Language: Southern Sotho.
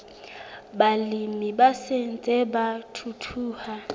balemi ba ntseng ba thuthuha